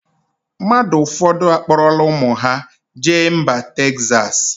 Mmadụ ụfọdụ akpọrọla ụmụ ha jee mba Texas.